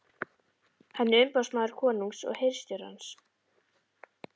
Hann er umboðsmaður konungs og hirðstjórans.